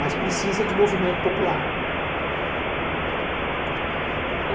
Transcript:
Mas precisa de movimento popular.